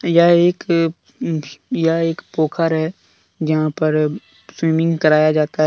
यह एक यह एक पोखर है। जहां पर स्विमिंग कराया जाता है।